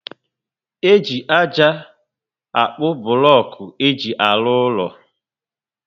E ji ájá akpu bulocku éjị arụ úlọ